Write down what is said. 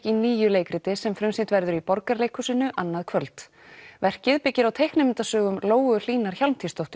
í nýju leikriti sem frumsýnt verður í Borgarleikhúsinu annað kvöld verkið byggir á teiknimyndasögum Lóu Hlínar Hjálmtýsdóttur